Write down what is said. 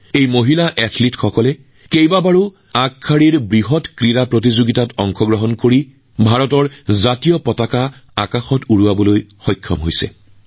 এই মহিলা খেলুৱৈসকলে বহু বৃহৎ প্ৰতিযোগিতাত অংশগ্ৰহণ কৰি ভাৰতৰ ধ্বজা উৰুৱাইছিল